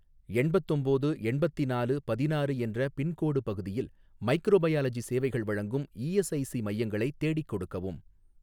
எண்பத்தொம்போது எண்பத்திநாலு பதினாறு என்ற பின்கோடு பகுதியில் மைக்ரோபயாலஜி சேவைகள் வழங்கும் இஎஸ்ஐஸி மையங்களை தேடிக் கொடுக்கவும்.